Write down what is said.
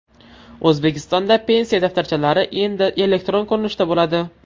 O‘zbekistonda pensiya daftarchalari endi elektron ko‘rinishda bo‘ladi.